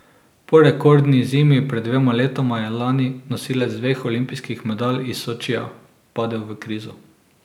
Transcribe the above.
Po rekordni zimi pred dvema letoma je lani nosilec dveh olimpijskih medalj iz Sočija padel v krizo.